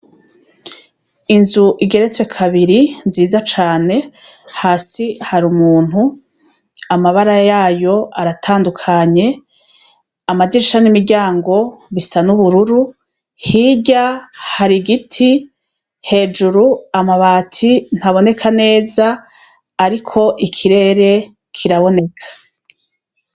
Inzu igeretswe kabiri nziza cane hasi hari umuntu amabara yayo aratandukanye amadisha n'imiryango bisa n'ubururu hirya hari igiti hejuru amabati ntaboneka neza ari ko ikirere kiraboneka.